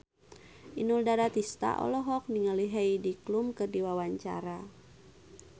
Inul Daratista olohok ningali Heidi Klum keur diwawancara